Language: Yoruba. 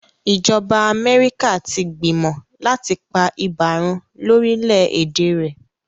ìjọba Amerika tí gbìmọ láti pá ibà run lórí lẹ èdè rẹ.